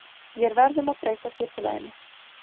Vér verðum að breyta skipulaginu.